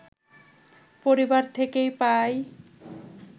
পরিবার থেকে পাই